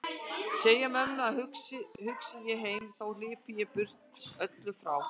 Segðu mömmu að hugsi ég heim þó hlypi ég burt öllu frá.